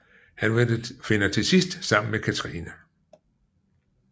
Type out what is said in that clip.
Han finder til sidst sammen med Catherine